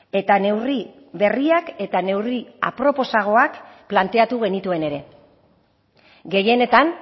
eta neurri berriak eta neurri aproposagoak planteatu genituen ere gehienetan